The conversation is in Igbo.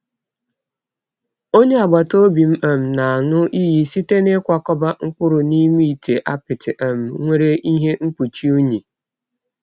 Onye agbata obi m um na-aṅụ iyi site n'ịkwakọba mkpụrụ n'ime ite apịtị um nwere ihe mkpuchi unyi.